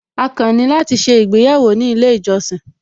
A kàn ní láti ṣé ìgbéyàwó ní ilé ìjọsìn